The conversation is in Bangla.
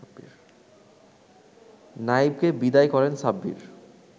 নাইবকে বিদায় করেন সাব্বির